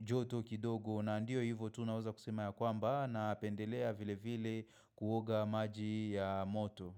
joto kidogo na ndio hivyo tu naweza kusema ya kwamba na pendelea vile vile kuoga maji ya moto.